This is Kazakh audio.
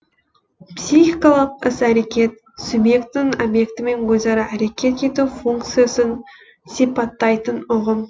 психикалық іс әрекет субъектінің объектімен өзара әрекет ету функциясын сипаттайтын ұғым